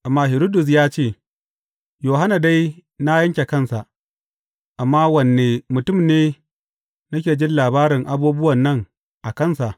Amma Hiridus ya ce, Yohanna dai na yanke kansa, amma wanne mutum ne nake jin labarin abubuwan nan a kansa?